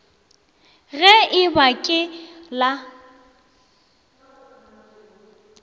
ge e ba ke la